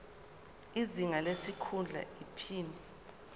izinga lesikhundla iphini